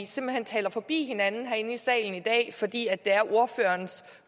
simpelt hen taler forbi hinanden herinde i salen i dag fordi det er ordførerens